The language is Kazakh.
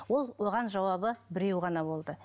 ол оған жауабы біреу ғана болды